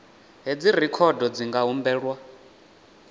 hedzi rekhodo dzi nga humbelwa